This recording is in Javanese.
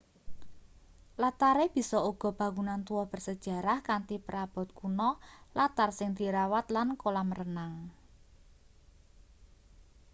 latare bisa uga bangunan tuwa bersejarah kanthi perabot kuno latar sing dirawat lan kolam renang